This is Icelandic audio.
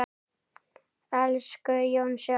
Elsku Jónsi okkar.